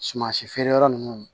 Suman si feereyɔrɔ ninnu